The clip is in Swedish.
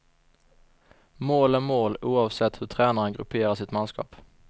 Mål är mål oavsett hur tränaren grupperar sitt manskap.